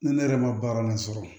Ni ne yɛrɛ ma baara la sɔrɔ